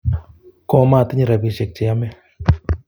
Komatinye rapisyek che yome